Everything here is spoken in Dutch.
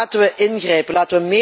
Laten wij ingrijpen.